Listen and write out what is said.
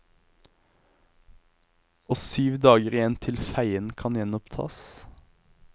Og syv dager igjen til feien kan gjenopptas.